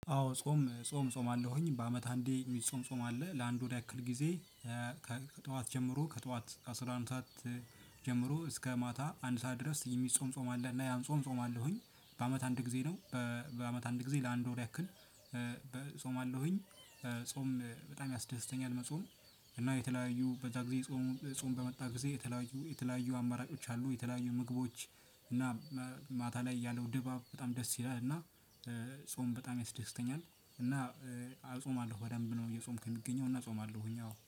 አዎ ጾም ጾም እፆማለሁኝ በአመት አንዴ የሚጾም ጾም አለ ለአንድ ወር ያክል ጊዜ። ከጠዋት ጀምሮ ከጠዋት ከአስራ አንድ ሰዓት። ጀምሮ እስከ ማታ አንድ ሰዓት ድረስ የሚጾም ጾም አለ። እና ያን ጾም እፆማለሁኝ በአመት አንድ ጊዜ ነው። በአመት አንድ ጊዜ ለአንድ ወር ያክል እፆማለሁኝ። ጾም በጣም ያስደስተኛል መጾም። እና የተለያዩ በዛ ጊዜ ጾም በመጣ ጊዜ የተለያዩ የተለያዩ አማራጮች አሉ። የተለያዩ ምግቦች። እና ማታ ላይ ያለው ድባብ በጣም ደስ ይላል። እና ጾም በጣም ያስደስተኛል። እና እጾማለሁ በደንብ ነው እየጾምኩ የምገኘው እና አጾማለሁኝ አዎ